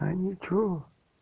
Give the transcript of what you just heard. а ничего